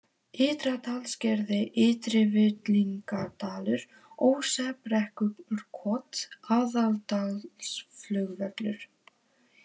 Ytra-Dalsgerði, Ytri-Villingadalur, Ósebrekkurkot, Aðaldalsflugvöllur